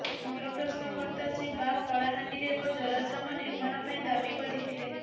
ମୂଳ ପ୍ରଶ୍ନକର୍ତ୍ତା ଶ୍ରୀ ବାଗ କଳାହାଣ୍ଡିରେ ଏକ ଜରାଶ୍ରମ ନିର୍ମାଣ ପାଇଁ ଦାବି କରିଥିଲେ